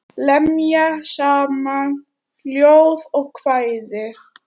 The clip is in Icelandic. Lemja saman ljóð og kvæði.